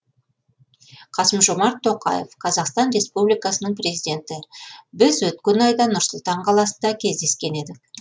қасым жомарт тоқаев қазақстан республикасының президенті біз өткен айда нұр сұлтан қаласында кездескен едік